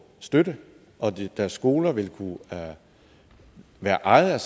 støtte og deres skoler vil kunne være ejet